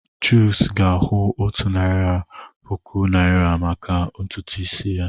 Chuks ga-akwụ otu narị puku naịra maka ntutu isi.